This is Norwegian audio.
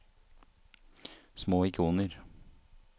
små ikoner